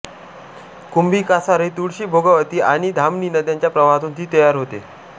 कुंभी कासारी तुळशी भोगावती आणि धामणी नद्यांच्या प्रवाहातून ती तयार होते